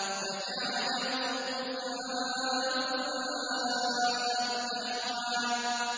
فَجَعَلَهُ غُثَاءً أَحْوَىٰ